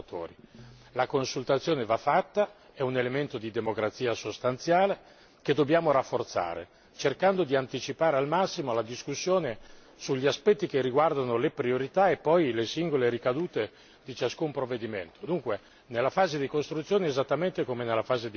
La consultazione va fatta, è un elemento di democrazia sostanziale che dobbiamo rafforzare, cercando di anticipare al massimo la discussione sugli aspetti che riguardano le priorità e poi le singole ricadute di ciascun provvedimento, dunque nella fase di costruzione esattamente come nella fase di verifica.